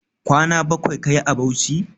Kwana bakwai kayi a Bauchi?